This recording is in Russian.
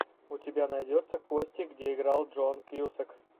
у тебя найдется кости где играл джон кьюсак